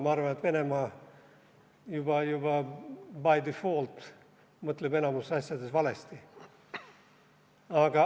Ma arvan, et Venemaa mõtleb juba by default enamikus asjades valesti.